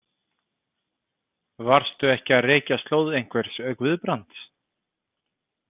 Varstu ekki að rekja slóð einhvers Guðbrands?